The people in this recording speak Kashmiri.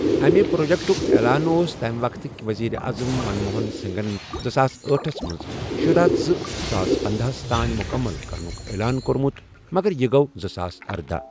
اَمہِ پرٛوجیٚکٹُک اعلان اوس تَمہِ وقتہٕ کہِ ؤزیٖرِ اعظم منموہَن سِنٛگھن زٕساس أٹھس منٛزشُرہ ۔ زٕساس پندہ ہس تانۍ مُکمل کرنُک اعلان کوٚرمُت، مگر یہِ گوٚو زٕساس اردہَ۔